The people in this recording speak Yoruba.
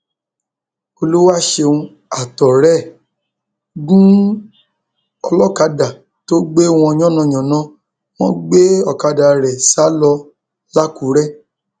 olùwàṣẹun àtọrẹ ẹ gún olókàdá tó gbé wọn yánnayànna wọn gbé ọkadà ẹ sá lọ làkúrẹ